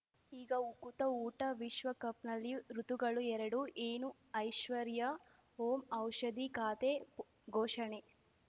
ಈಗ ಉಕುತ ಊಟ ವಿಶ್ವಕಪ್‌ನಲ್ಲಿ ಋತುಗಳು ಎರಡು ಏನು ಐಶ್ವರ್ಯಾ ಓಂ ಔಷಧಿ ಖಾತೆ ಘೋಷಣೆ